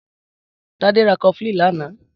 Tade rà kọflin lànã